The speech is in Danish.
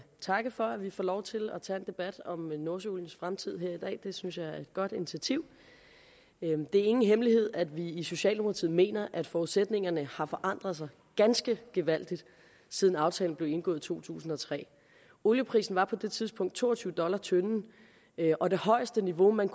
takke for at vi får lov til at tage en debat om nordsøoliens fremtid her i dag det synes jeg er et godt initiativ det er ingen hemmelighed at vi i socialdemokratiet mener at forudsætningerne har forandret sig ganske gevaldigt siden aftalen blev indgået i to tusind og tre olieprisen var på det tidspunkt to og tyve dollars tønden og det højeste niveau man